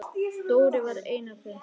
Dóri var einn af þeim.